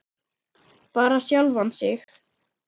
Bara sjálfan sig.